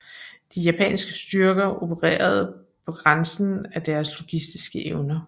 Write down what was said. De japanske styrker opererede på grænsen af deres logistiske evner